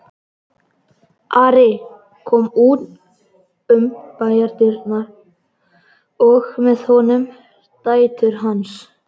Ari kom út um bæjardyrnar og með honum dætur hans.